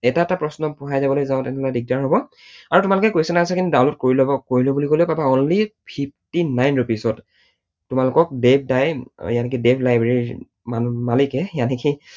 এটা এটা প্ৰশ্ন পঢ়াই যাবলৈ যাওঁতে দিগদাৰ হব আৰু তোমালোকে question, answer খিনি download কৰি লও বুলি কলেও পাবা only fifty-nine rupees ত তোমালোকক দেৱ দাই device library ৰ মালিকে